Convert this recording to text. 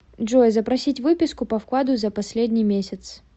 джой запросить выписку по вкладу за последний месяц